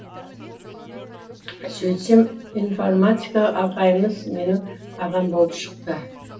сөйтсем информатика ағайымыз менің ағам болып шықты